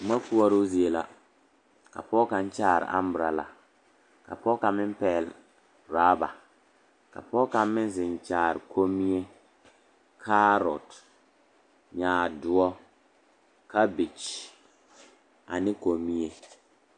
Boma koɔroo zie la ka pɔge kaŋ kyaare amborɔla ka pɔge kaŋ meŋ pɛgle orɔba ka pɔge kaŋ meŋ zeŋ kyaare kommie kaarɔte nyaadoɔ kabege ane kommie.